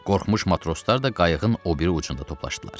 Qorxmuş matroslar da qayıqın o biri ucunda toplaşdılar.